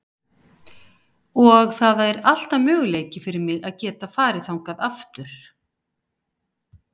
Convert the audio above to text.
Og það er alltaf möguleiki fyrir mig að geta farið þangað aftur.